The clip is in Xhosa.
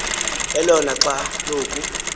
elona xa loku